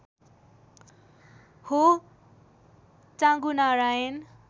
हो चाँगुनारायण